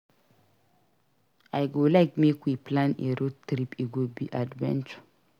I go like make we plan a road trip; e go be adventure.